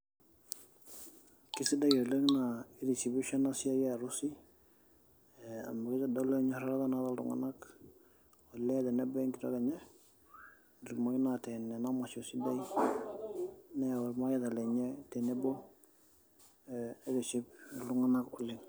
Keisidai oleng naa keitishipisho ena siai e arusi. Amu keitodolu naata iltung'anak olee tenebo we nkitok enye etumoki naa ateen ena masho sidai neyau ilmareita lenye tenebo aitishi iltung'anak oleng'.